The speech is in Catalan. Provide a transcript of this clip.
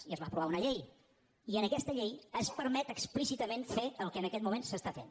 i es va aprovar una llei i en aquesta llei es permet explícitament fer el que en aquest moment es fa